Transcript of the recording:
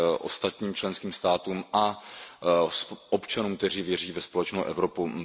ostatním členským státům a občanům, kteří věří ve společnou Evropu.